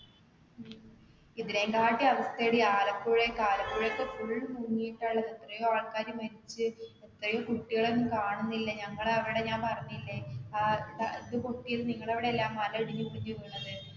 ഇതിനെക്കാട്ടിലും അവസ്ഥായാടി ആലപ്പുഴ, ആലപ്പുഴയൊക്കെ full മുങ്ങിട്ടയുള്ളത് എത്രയോ ആൾക്കാര് മരിച്ചു, എത്രയോ കുട്ടികളെ ഒന്നും കാണുന്നില്ല. ഞങ്ങടെ അവിടെ ഞാൻ പറഞ്ഞില്ലേ ഇത് പൊട്ടിയത് നിങ്ങടെ അവിടെയല്ലേ ആ മലയിടിഞ്ഞു വീണത്.